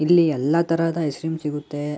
ಇಲ್ಲಿ ಎಲ್ಲ ತರದ ಐಸ್ ಕ್ರಿಮ್ ಸಿಗುತ್ತೆ.